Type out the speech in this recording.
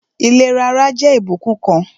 Ìlera ara jẹ́ ìbùkún kan